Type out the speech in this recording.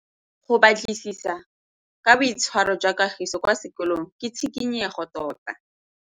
Go batlisisa ka boitshwaro jwa Kagiso kwa sekolong ke tshikinyêgô tota.